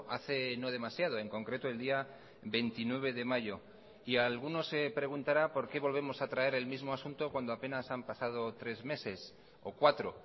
hace no demasiado en concreto el día veintinueve de mayo y alguno se preguntará por qué volvemos a traer el mismo asunto cuando apenas han pasado tres meses o cuatro